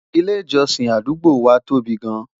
ilé ìjósìn àdúgbò wa tóbi gaan